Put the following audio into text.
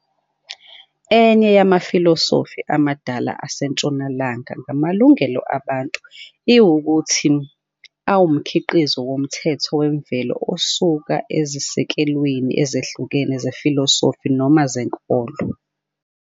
Enye yamafilosofi amadala aseNtshonalanga ngamalungelo abantu iwukuthi awumkhiqizo womthetho wemvelo, osuka ezisekelweni ezihlukene zefilosofi noma zenkolo.